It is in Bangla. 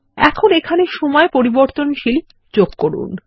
এখন এখানে সময় পরিবর্তনশীল যোগ করুন